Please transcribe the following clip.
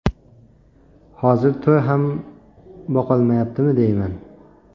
Hozir to‘y ham boqolmayaptimi deyman.